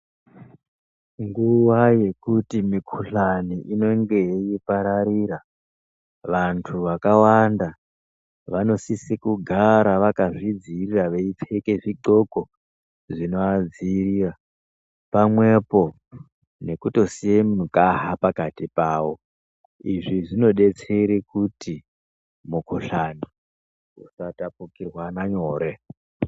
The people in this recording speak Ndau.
Nguva yekuti mikuhlani inenge yeipararira vantu vakawanda vanosise kugara vakazvidzirira veipfeke zvidhloko zvinoadzirira, pamwepo nekutosiye mugaha pakati pavo. Izvi zvinobetsere kuti mukuhlani usatapukirwana nyore.